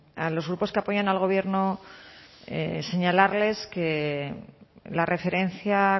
a los grupos que apoyan al gobierno señalarles que la referencia